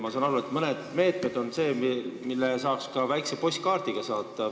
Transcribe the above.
Ma saan aru, et mõned meetmed on ka sellised, mille puhul saab väikese postkaardi saata.